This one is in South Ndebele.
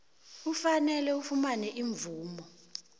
kufanele ufumane imvumo